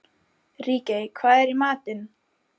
Ríkey, hvað er í matinn?